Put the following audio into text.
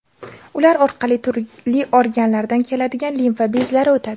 Ular orqali turli organlardan keladigan limfa bezlari o‘tadi.